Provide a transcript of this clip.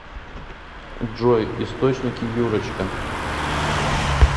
джой источники юрочка